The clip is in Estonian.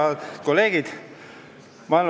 Head kolleegid!